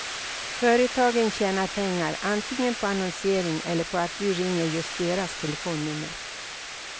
Företagen tjänar pengar antingen på annonsering eller på att du ringer just deras telefonnummer.